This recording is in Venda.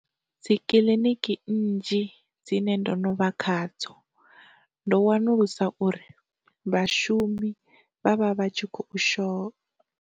Dzikiḽiniki nnzhi dzine ndo no vha khadzo, ndo wanulusa uri vhashumi vha vha vha tshi kho sho.